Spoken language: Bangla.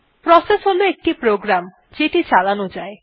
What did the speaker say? প্রসেস হল একটি প্রোগ্রাম যেটি চালানো যায়